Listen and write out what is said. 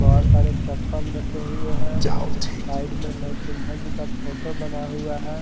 बहुत सारे चप्पल रखे हुए हैं साइड में नर सिन्हा जी का फोटो बना हुआ है।